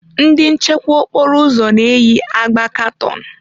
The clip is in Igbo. Ndị nchekwa okporo ụzọ na-eyi agba katọn.